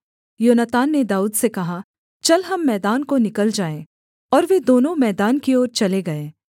योनातान ने दाऊद से कहा चल हम मैदान को निकल जाएँ और वे दोनों मैदान की ओर चले गए